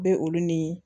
Bɛ olu ni